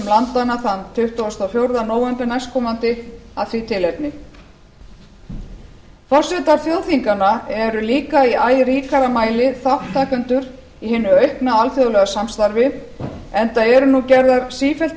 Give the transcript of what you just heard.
landanna tuttugasta og fjórða nóv næstkomandi af því tilefni forsetar þjóðþinganna eru líka í æ ríkara mæli þátttakendur í hinu aukna alþjóðlega samstarfi enda eru nú gerðar sífellt